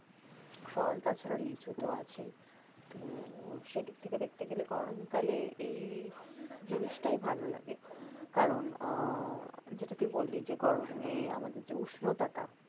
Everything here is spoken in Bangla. ফল তাছার লিচু তো আছেই তো সেদিক থেকে দেখতে গেলে গরমকালে এই জিনিসটাই ভাল লাগে কারণ আহ যেটা তুই বললি যে গরমে আমাদের যে উষ্ণতাটা